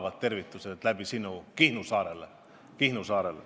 Saadan sinu kaudu palavad tervitused Kihnu saarele!